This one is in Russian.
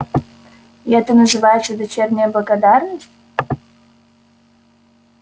и это называется дочерняя благодарность